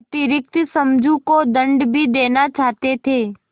अतिरिक्त समझू को दंड भी देना चाहते थे